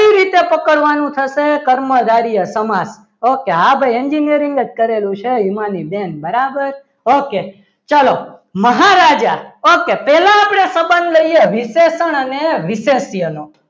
કઈ રીતે પકડવાનું થશે કર્મધાર્ય સમાજ okay હા ભાઈ engineering જ કરેલું છે હિમાની બેન બરાબર ઓકે ચાલો મહારાજા ઓકે પહેલા આપણે સંબંધ લઈએ વિશેષણ અને વિશેષનો